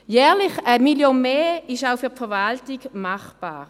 Jährlich 1 Mio. Franken mehr, das ist auch für die Verwaltung machbar.